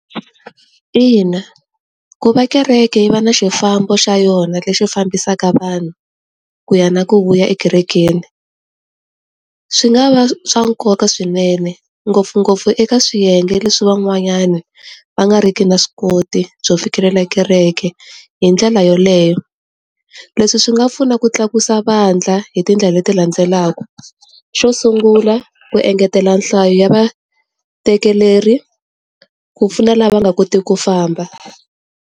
Ina, ku va kereke yi va na xifambo xa yona lexi fambisaka vanhu, ku ya na ku vuya ekerekeni. Swi nga va swa nkoka swinene, ngopfungopfu eka swiyenge leswi van'wanyana va nga ri ki na swi koti byo fikelela kereke hi ndlela yeleyo. Leswi swi nga pfuna ku tlakusa vandla hi tindlela leti landzelaka. Xo sungula, ku engetela nhlayo ya vatekeleri, ku pfuna la va nga koti ku famba.